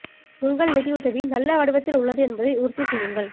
உங்கள் நிதி உதவி நல்ல வடிவத்தில் உள்ளது என்பதை உறுதி செய்யுங்கள்